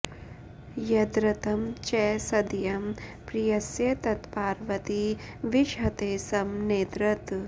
यद्रतं च सदयं प्रियस्य तत्पार्वती विषहते स्म नेतरत्